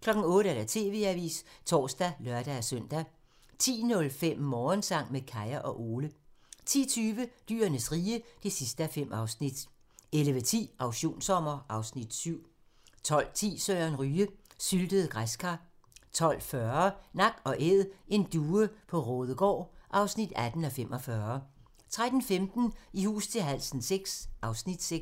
08:00: TV-avisen (tor og lør-søn) 10:05: Morgensang med Kaya og Ole 10:20: Dyrenes rige (5:5) 11:10: Auktionssommer (Afs. 7) 12:10: Søren Ryge: Syltede græskar 12:40: Nak & Æd - en due på Raadegaard (18:45) 13:15: I hus til halsen VI (Afs. 6)